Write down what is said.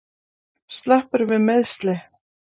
Sleppurðu við meiðsli?